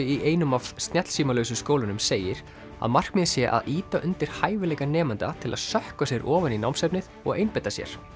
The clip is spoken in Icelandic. í einum af skólunum segir að markmiðið sé að ýta undir hæfileika nemenda til að sökkva sér ofan í námsefnið og einbeita sér